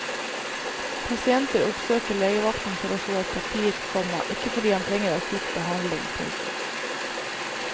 Pasienter oppsøker legevakten for å få et papir, komma ikke fordi han trenger akutt behandling. punktum